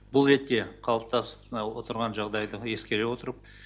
бұл ретте қалыптасып отырған жағдайды ескере отырып